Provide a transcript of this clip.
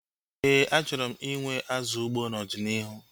Éè, achọrọ m inwe azụ ugbo n'ọdịnihu